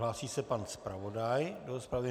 Hlásí se pan zpravodaj do rozpravy?